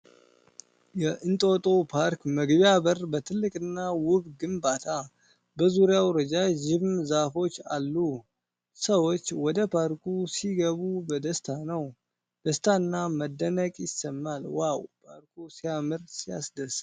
የእንጦጦ ፓርክ መግቢያ በር በትልቅና ውብ ግንባታ ። በዙሪያው ረዣዥም ዛፎች አሉ ። ሰዎች ወደ ፓርኩ ሲገቡ በደስታ ነው። ደስታና መደነቅ ይሰማል። ዋው! ፓርኩ ሲያምርና ሲያስደስት!